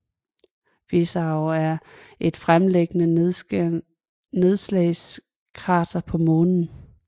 Fizeau er et fremtrædende nedslagskrater på Månen